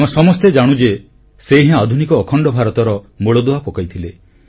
ଆମେ ସମସ୍ତେ ଜାଣୁ ଯେ ସେ ହିଁ ଆଧୁନିକ ଅଖଣ୍ଡ ଭାରତର ମୂଳଦୁଆ ପକାଇଥିଲେ